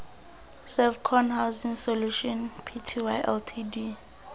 servcon housing solutions pty ltd